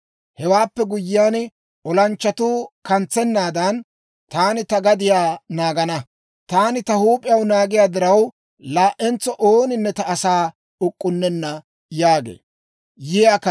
Hewaappe guyyiyaan, olanchchatuu kantsennaadan, taani ta gadiyaa naagana. Taani ta huup'iyaan naagiyaa diraw, laa"entso ooninne ta asaa uk'k'unnenna» yaagee.